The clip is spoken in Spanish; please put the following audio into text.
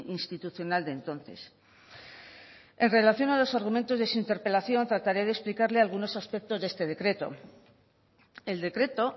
institucional de entonces en relación a los argumentos de su interpelación trataré de explicarle algunos aspectos de este decreto el decreto